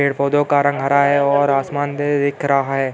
Paid पौधो का रंग हरा है। और आसमान दिख रहा है ।